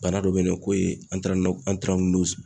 Bana dɔ bɛ ye nɔ ko ye